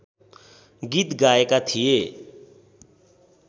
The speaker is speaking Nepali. गीत गाएका थिए